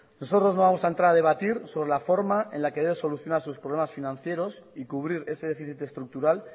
nosotros no vamos a entrar a debatir sobre la forma en la que debe solucionar sus problemas financieros y cubrir ese déficit estructural